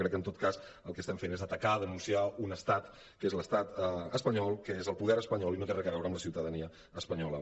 crec que en tot cas el que fem és atacar denunciar un estat que és l’estat espanyol que és el poder espanyol i no té res a veure amb la ciutadania espanyola